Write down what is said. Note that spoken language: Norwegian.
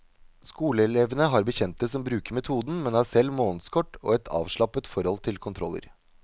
Skoleelevene har bekjente som bruker metoden, men har selv månedskort og et avslappet forhold til kontroller.